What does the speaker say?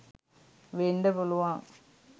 වෙන්ඩ පුළුවන්.